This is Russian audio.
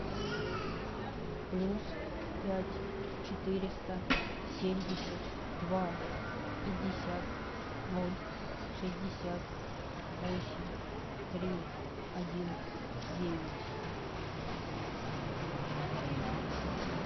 плюс пять четыреста семьдесят два пятьдесят ноль шестьдесят восемь три один девять